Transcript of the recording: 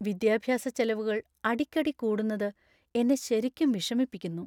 വിദ്യാഭ്യാസച്ചെലവുകൾ അടിക്കടി കൂടുന്നത് എന്നെ ശരിക്കും വിഷമിപ്പിക്കുന്നു.